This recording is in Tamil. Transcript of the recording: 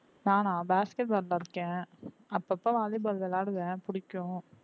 நானா basketball இருக்கேன் அப்பப்ப volley ball விளையாடுவேன் பிடிக்கும்